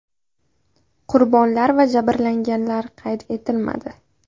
Qurbonlar va jabrlanganlar qayd etilmadi.